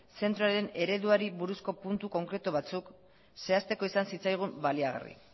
zentroaren ereduari buruzko puntu konkretu batzuk zehazteko izan zitzaigun baliagarri